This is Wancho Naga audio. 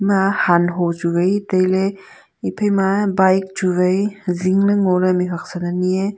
emma han ho chu vai tailey ephai ma bike chu vai zing ley ngo ley mih huak san anyi ae.